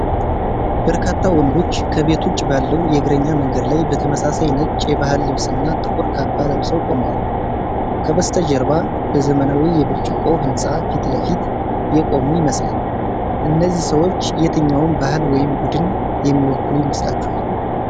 በርካታ ወንዶች ከቤት ውጭ ባለው የእግረኛ መንገድ ላይ በተመሳሳይ ነጭ የባህል ልብስና ጥቁር ካባ ለብሰው ቆመዋል። ከበስተጀርባ በዘመናዊ የብርጭቆ ህንፃ ፊት ለፊት የቆሙ ይመስላል። እነዚህ ሰዎች የትኛውን ባህል ወይም ቡድን የሚወክሉ ይመስላችኋል?